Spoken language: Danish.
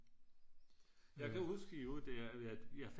Jeg kan huske i øvrigt der at jeg fandt